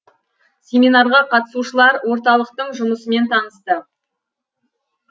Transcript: семинарға қатысушылар орталықтың жұмысымен танысты